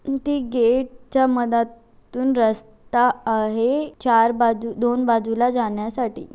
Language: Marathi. ते गेट च्यामधा तून रस्ता आहे. चार बाजू दोन बाजूला जाण्यासाठी.